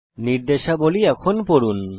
নির্দেশাবলী পড়ুন